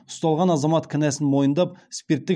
ұсталған азамат кінәсін мойындап спирттік